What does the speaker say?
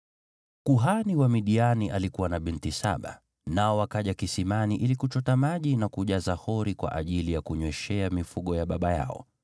Kuhani wa Midiani alikuwa na binti saba, nao wakaja kisimani ili kuchota maji na kujaza hori kwa ajili ya kunyweshea mifugo ya baba yao.